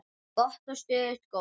Gott og stöðugt golf!